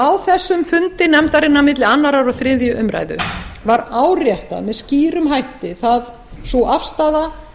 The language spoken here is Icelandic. á þessum fundi nefndarinnar á milli annars og þriðju umræðu var áréttuð með skýrum hætti sú afstaða